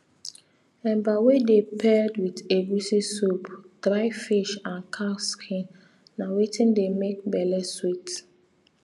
eba wey dey paired with egusi soup dry fish and cow skin na wetin dey make belle sweet